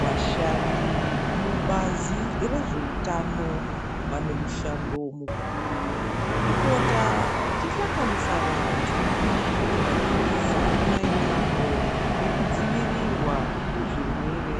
Vashandi mubazi rezveutano vane mushando mukurutu welupota veihlanganisa vantu vachivadzidzisa mayererano nekudzivirirwa kwezvirwere